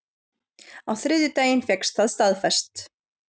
Á þriðjudaginn fékkst það staðfest